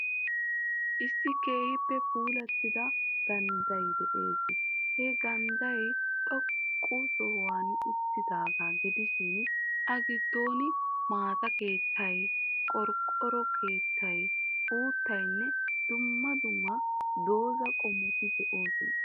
Issi keehippe puulattida gandday de'ees. He gandday xoqqa sohuwan uttidaaga gidishin,A giddon maata keettay, qorqqoro keettay, uuttaynne dumma dumma doza qommoti de'oosona.